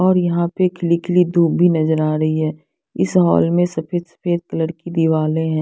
और यहां पर खिली खिली धूप भी नज़र आ रही है इस हॉल में सफ़ेद सफ़ेद कलर की दीवाले हैं।